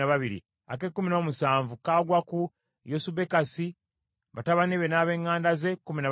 ak’ekkumi n’omunaana kagwa ku Kanani, batabani be n’ab’eŋŋanda ze, kkumi na babiri;